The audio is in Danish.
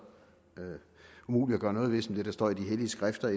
umuligt at gøre noget ved som det der står i de hellige skrifter